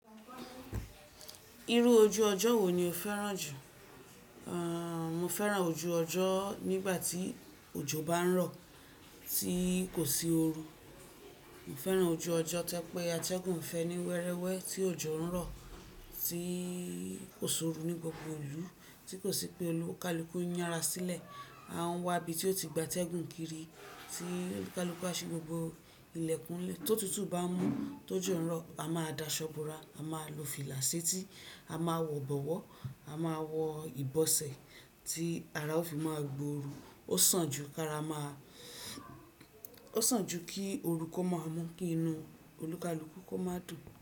Irú ojú ọjọ́ wo ni o fẹ́ràn jù? A, mo fẹ́ràn ojú ọjọ́ nígbà tí òjò bá ń rọ̀, tí kò sí oru. Mo fẹ́ràn ojú ọjọ́ tẹ́pẹ́ atẹ́gùn fẹ́ ní wẹ́rẹ́wẹ́, tí òjò ń rọ̀, tí kò sí oru ní gbogbo ìlú, tí kò sí pé olùkalùkù ń yára sílẹ̀. A ń wá ibi tí ó ti gba atẹ́gùn kiri, tí olùkalùkù bá sí gbogbo ilẹ̀kùn ilé, tó tútù bá ń mú tó jù rọ, a máa da ṣọ́bùrà, a máa lo fìlàsiti, a máa wọ bọ̀wọ́, a máa wọ ìbọsẹ̀ tí ara ó fi máa gbóoru. Ó sàn jù kí a ráa, ó sàn jù kí orú kọ máa mú kí inú olùkalùkù kó máa dùn.